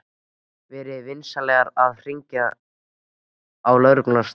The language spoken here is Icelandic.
Verið svo vinsamlegir að hringja á lögregluna strax.